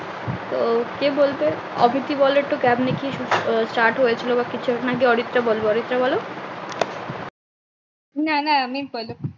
তো কে বলবে অদিতি বলো নাকি অরিত্রা বলবে অরিত্রা বলো, না না আমি পরে